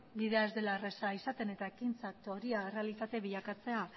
bidea ez dela erraza izaten eta ekintzak teoria errealitate bilakatzea